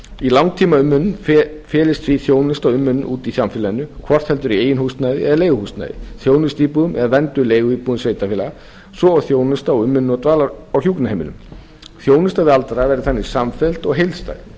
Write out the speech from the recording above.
í langtímaumönnun felist því þjónusta og umönnun úti í samfélaginu hvort heldur í eigin húsnæði eða leiguhúsnæði þjónustuíbúðum eða vernduðum leiguíbúðum sveitarfélaga svo og þjónusta og umönnunar á dvalar og hjúkrunarheimilum þjónusta við aldraða verði þannig samfelld og heildstæð